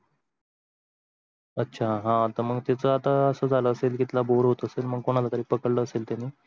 अच्छा हा तर मग त्याच्या अर्थ अस झाला असेल, अंकितला bore होत असेल मग कोणाला तरी पकडल असेल त्यांनी